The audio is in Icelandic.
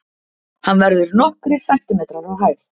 Hann verður nokkrir sentimetrar á hæð.